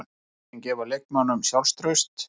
Úrslitin gefa leikmönnunum sjálfstraust.